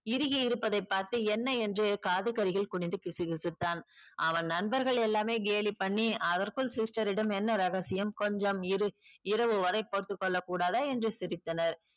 இறுகி இருப்பதை பார்த்து என்ன என்று காதுக்கருகில் குணிந்து கிசுகிசுத்தான் அவன் நண்பர்கள் எல்லாமே கேலி பண்ணி அதற்குள் sister ரிடம் என்ன ரகசியம் கொஞ்சம் இரு இரவு வரை பொறுத்துக்கொள்ள கூடாதா என்று சிரித்தனர்